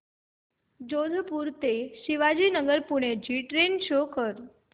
जोधपुर ते शिवाजीनगर पुणे ची train show कर